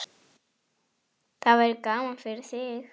Það verður gaman fyrir þig.